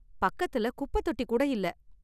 பக்கத்துல குப்பத் தொட்டி கூட இல்ல.